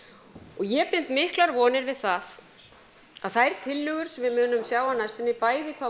og ég bind miklar vonir við það að þær tillögur sem við munum sjá á næstunni bæði hvað